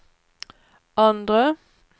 andre